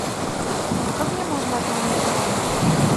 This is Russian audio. а как мне можно отменить бронь